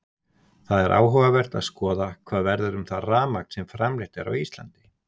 Það er áhugavert að skoða hvað verður um það rafmagn sem framleitt er á Íslandi.